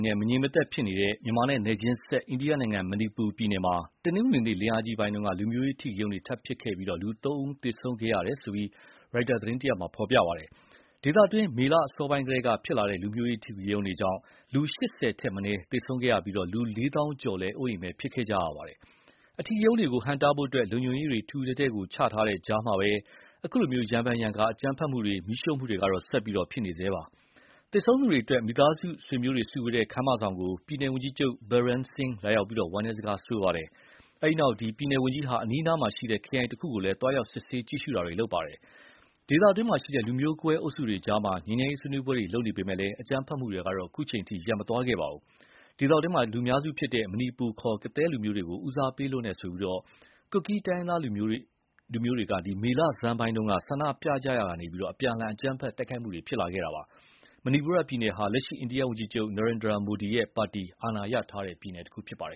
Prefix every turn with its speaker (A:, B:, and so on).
A: နဲ့ မငြိမ်မသက်ဖြစ်နေတဲ့ မြန်မာနဲ့နယ်ချင်းစပ် အိန္ဒိယနိုင်ငံ Manipur ပြည်နယ်မှာ တနင်္ဂနွေနေ့ လင်းအားကြီးပိုင်းက လူမျိုးရေးအဓိကရုဏ်းတွေထပ်ဖြစ်ပြီး လူသုံးဦး သေဆုံးခဲ့ရတယ်လို့ ရိုက်တာသတင်းမှာ ဖော်ပြပါတယ်။ ဒေသတွင်း မေလအစောပိုင်းကတည်းက ဖြစ်လာတဲ့ လူမျိုးရေးအဓိကရုဏ်းတွေကြောင့် လူ ၈၀ ထက်မနည်းသေဆုံးခဲ့ပြီး လူ လေးသောင်းကျော် အိုးအိမ်မဲ့ဖြစ်ခဲ့ရပါတယ်။ အဓိကရုဏ်းတွေကိုဟန့်တားဖို့ လုံခြုံရေးတွေ ထူထူထဲထဲ ချထားတဲ့ကြာမှာပဲ အခုလို ရံဖန်ရံခါ အကြမ်းဖက်မှုတွေ မီးရှို့မှုတွေကတော့ ဆက်ဖြစ်နေဆဲပါ။ သေဆုံးသူတွေအတွက် မိသားစုဆွေမျိုးတွေ စုဝေးတဲ့ ခန်းမဆောင်ကို ပြည်နယ်ဝန်ကြီးချုပ် Biren Singh လာရောက်ပြီးဝမ်းနည်းစကားဆိုခဲ့ပါတယ်။ အဲဒီနောက် ပြည်နယ်ဝန်ကြီးချုပ်ဟာ အနီးအနားက ခရိုင်တခုကိုလည်း သွားရောက်စစ်ဆေးကြည့်ရှုပါ တယ်။ ဒေသတွင်း လူမျိုးကွဲ အုပ်စုတွေအကြား ငြိမ်းချမ်းရေးဆွေးနွေးပွဲတွေ လုပ်နေပေမယ့် လည်း အကြမ်းဖက်မှုတွေ ရပ်မသွားခဲ့ပါဘူး။ ဒေသတွင်း လူများစုဖြစ်တဲ့ မဏိပူ ခေါ် ကသည်းလူမျိုးတွေကို ဦးစားပေးလွန်းတယ်ဆိုပြီး၊ ကွတ်ကီးတိုင်းရင်းသားမျိုးနွယ်တွေ မေလဆန်းပိုင်း ဆန္ဒပြရာကနေ အပြန်အလှန် အကြမ်းဖက်တိုက်ခိုက် မှုတွေ ဖြစ်လာတာပါ။ မဏိပူပြည်နယ်ဟာ လက်ရှိ အိန္ဒိယဝန်ကြီးချုပ် Narendra Modi ရဲ့ ပါတီ အာဏာရထားတဲ့ ပြည်နယ်ဖြစ်ပါတယ